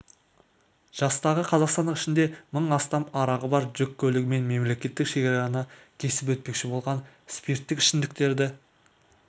жастағы қазақстандық ішінде мың астам арағы бар жүк көлігімен мемлекеттік шекараны кесіп өтпекші болған спирттік ішімдіктерді